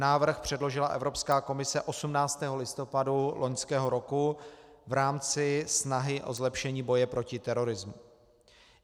Návrh předložila Evropská komise 18. listopadu loňského roku v rámci snahy o zlepšení boje proti terorismu.